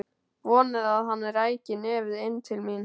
Vonaði að hann ræki nefið inn til mín.